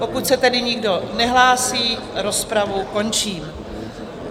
Pokud se tedy nikdo nehlásí, rozpravu končím.